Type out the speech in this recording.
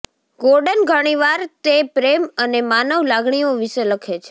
Gordon ઘણીવાર તે પ્રેમ અને માનવ લાગણીઓ વિશે લખે છે